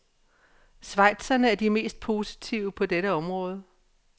Schweizerne er de mest positive på dette område.